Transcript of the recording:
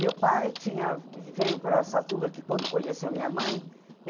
Meu pai tinha, veio para Araçatuba que quando conheceu minha mãe.